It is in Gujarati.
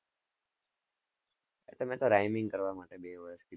આતો મેં તો rhyming કરવા માટે બે વર્ષ કીધું.